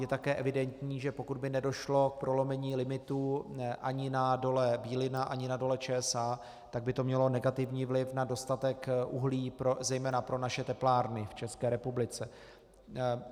Je také evidentní, že pokud by nedošlo k prolomení limitů ani na Dole Bílina, ani na Dole ČSA, tak by to mělo negativní vliv na dostatek uhlí zejména pro naše teplárny v České republice.